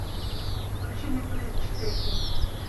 включи мне турист четыре кей